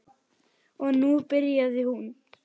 Og nú byrjaði hún.